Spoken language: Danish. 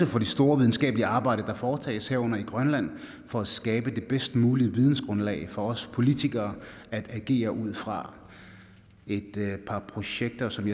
for det store videnskabelige arbejde der foretages herunder i grønland for at skabe det bedst mulige vidensgrundlag for os politikere at agere ud fra et par projekter som